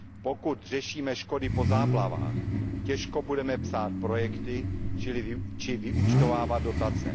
Pokud řešíme škody po záplavách, těžko budeme psát projekty či vyúčtovávat dotace.